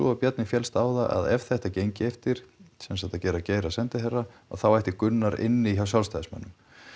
að Bjarni féllst á það að ef þetta gengi eftir sem sagt að gera Geir að sendiherra að þá ætti Gunnar inni hjá Sjálfstæðismönnum